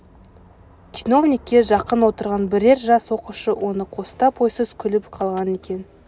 чиновникке жақын отырған бірер жас оқушы оны қостап ойсыз күліп қалған екен